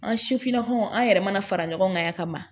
An sifinnakaw an yɛrɛ mana fara ɲɔgɔn kan yan ka ban